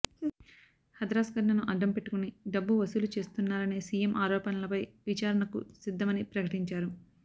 హథ్రాస్ ఘటనను అడ్డం పెట్టుకుని డబ్బు వసూలు చేస్తున్నారనే సీఎం ఆరోపణలపై విచారణకు సిద్ధమని ప్రకటించారు